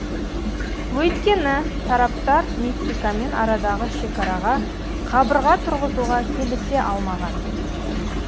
өйткені тараптар мексикамен арадағы шекараға қабырға тұрғызуға келісе алмаған